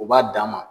U b'a d'a ma